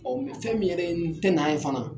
Ɔn fɛn min yɛrɛ ye n tɛ na ye fana